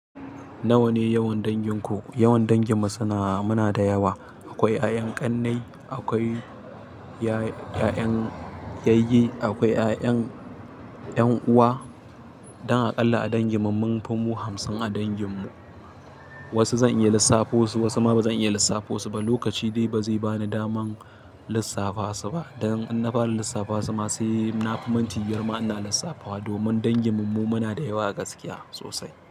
Nawa ne yawan dangin ku? Yawan dangin mu suna, muna da yawa. Akwai ƴa'ƴan ƙannai, akwai ya-ƴa'ƴan yayyi, akwai ƴa'ƴan ƴan uwa. Dan aƙalla a dangi mu, mun fi mu hamsin a dangin mu. Wasu zan iya lissafo su, wasu ma ba zan iya lissafo su ba. Lokaci dai ba zai bani daman lissafa su ba. Dan in na fara lissafa su ma sai na fi minti biyar ma ina lissafa wa. Domin dangin mu mu muna da yawa a gaskiya sosai.